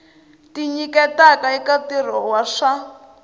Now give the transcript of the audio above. tinyiketaka eka ntirho wa swa